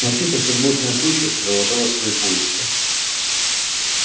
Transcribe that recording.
волчица все с большей настойчивостью продолжала свои поиски